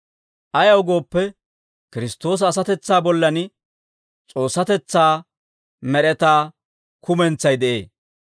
Ayaw gooppe, Kiristtoosa asatetsaa bollan S'oossatetsaa med'etaa kumentsay de'ee.